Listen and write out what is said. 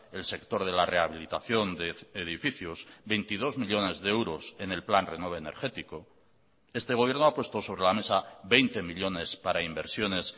el sector de la rehabilitación de edificios veintidós millónes de euros en el plan renove energético este gobierno ha puesto sobre la mesa veinte millónes para inversiones